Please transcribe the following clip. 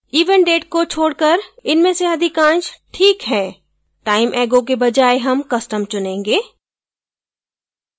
event date को छोडकर इनमें से अधिकाश ठीक है time ago के बजाय हम custom चुनेंगे